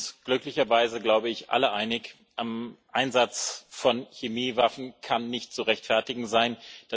Wir sind uns glücklicherweise glaube ich alle einig Ein Einsatz von Chemiewaffen kann nicht zu rechtfertigen sein.